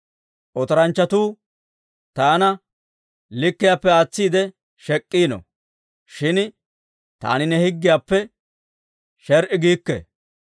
Otoranchchatuu taana likkiyaappe aatsiide shek'iino; shin taani ne higgiyaappe sher"i giikke.